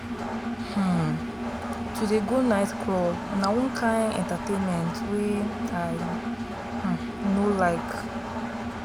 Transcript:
um to dey go night club na one kain entertainment wey i um no like.